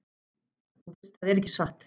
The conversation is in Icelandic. Þú veist það er ekki satt!